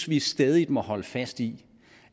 vi stædigt må holde fast i